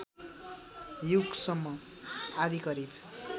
युगसम्म आदि करिब